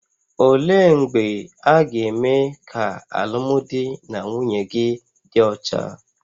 Olee mgbe a ga-eme ka alụmdi na nwunye gị dị ọcha?